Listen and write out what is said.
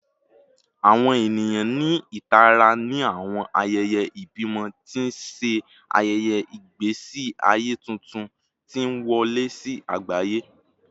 Awọn eniyan ni itara ni awọn ayẹyẹ ibimọ, ti n ṣe ayẹyẹ igbesi aye tuntun ti n wọle si agbaye